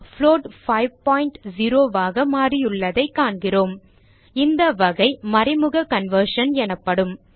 float 50 ஆக மாறியுள்ளதைக் காண்கிறோம் இந்த வகை மறைமுக கன்வர்ஷன் எனப்படும்